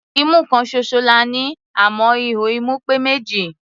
Imú kan ṣoṣo la ní, àmọ́ ihò imú pé méjì.